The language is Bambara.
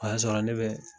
O y'a sɔrɔ ne bɛ